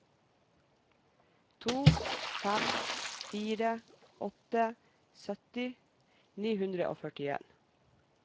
to fem fire åtte sytti ni hundre og førtien